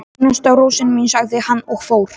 Einasta rósin mín, sagði hann og fór.